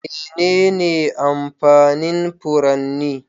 Menene amfanin furanni?